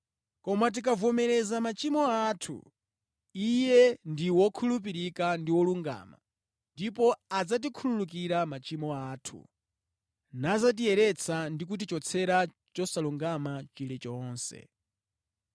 Koma tikavomereza machimo athu, Iye ndi wokhulupirika ndi wolungama ndipo adzatikhululukira machimo athu, nadzatiyeretsa ndi kutichotsera chosalungama chilichonse.